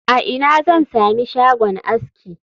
A ina zan sami shagon aski